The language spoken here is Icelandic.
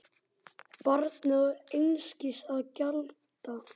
Barnið á einskis að gjalda.